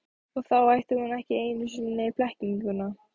Og þá ætti hún ekki einu sinni blekkinguna.